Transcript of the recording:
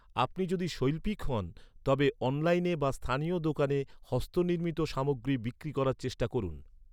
আপনি যদি শৈল্পিক হন, তবে অনলাইনে বা স্থানীয় দোকানে হস্তনির্মিত সামগ্রী বিক্রি করার চেষ্টা করুন।